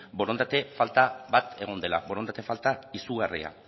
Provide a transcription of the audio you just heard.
borondate falta bat egon dela borondate falta izugarria